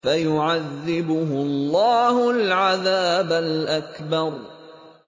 فَيُعَذِّبُهُ اللَّهُ الْعَذَابَ الْأَكْبَرَ